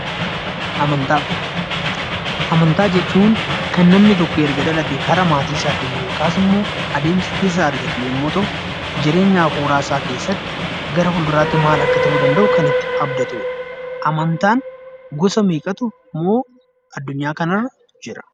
Amantaa Amantaa jechuun kan namni tokko erga dhalatee karaa maatii isaatiin yookaas immoo adeemsa keessa argatu yemmuu ta'u, jireenya afuuraa isaa keessatti gara fulduraatti maal akka ta'uu danda'u kan itti abdatudha. Amantaan gosa meeqatu immoo adunyaa kana irra jira?